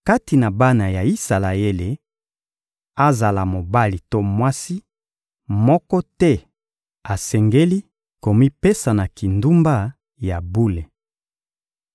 Kati na bana ya Isalaele, azala mobali to mwasi, moko te asengeli komipesa na kindumba ya bule.